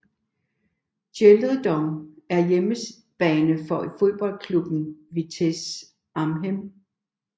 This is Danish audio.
GelreDome er hjemmebane for fodboldklubben Vitesse Arnhem